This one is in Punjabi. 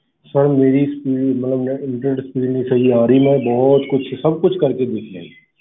Sir ਮੇਰੀ speed ਮਤਲਬ net internet speed ਨੀ ਸਹੀ ਆ ਰਹੀ ਮੈਂ ਬਹੁਤ ਕੁਛ ਸਭ ਕੁਛ ਕਰਕੇੇ ਦੇਖ ਲਿਆ ਜੀ।